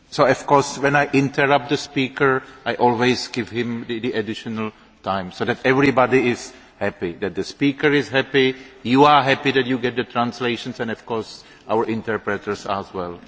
Of course, when I interrupt the speaker, I always give him the additional time, so everybody is happy the speaker is happy, you are happy that you get the interpretation, and, of course, our interpreters are happy as well.